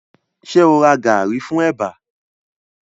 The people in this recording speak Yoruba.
Ṣẹ o ra gàrí fún ẹ̀bà